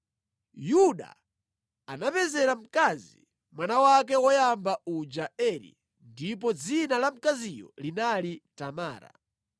Yuda anamupezera mkazi mwana wake woyamba uja Eri, ndipo dzina la mkaziyo linali Tamara.